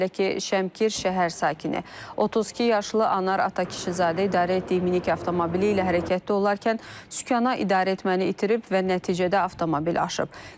Belə ki, Şəmkir şəhər sakini 32 yaşlı Anar Atakişizadə idarə etdiyi minik avtomobili ilə hərəkətdə olarkən sükan idarəetməni itirib və nəticədə avtomobil aşıb.